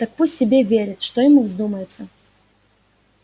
так пусть себе верит что ему вздумается